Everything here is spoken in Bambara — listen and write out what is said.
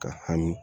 Ka hami